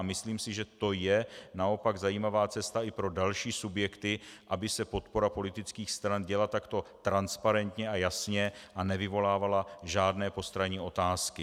A myslím si, že to je naopak zajímavá cesta i pro další subjekty, aby se podpora politických stran děla takto transparentně a jasně a nevyvolávala žádné postranní otázky.